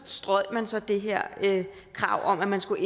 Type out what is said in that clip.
strøg man så det her krav om at man skulle